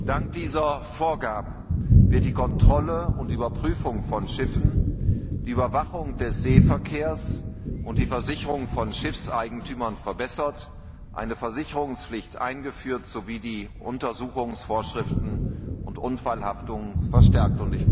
Dank dieser Vorgaben werden die Kontrolle und Überprüfung von Schiffen, die Überwachung des Seeverkehrs und die Versicherung von Schiffseigentümern verbessert, eine Versicherungspflicht eingeführt sowie die Untersuchungsvorschriften und die Haftung bei Unfällen verstärkt.